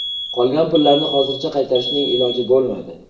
Qolgan pullarni hozircha qaytarishning iloji bo‘lmadi.